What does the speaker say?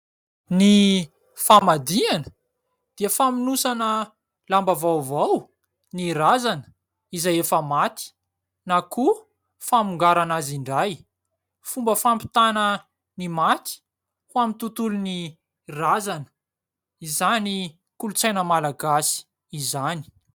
Ny famadihana dia famonosana lamba vaovao ny razana izay efa maty, na koa famongarana azy indray. Fomba fampitana ny maty ho amin'ny tontolon'ny razana izany kolontsaina malagasy izany.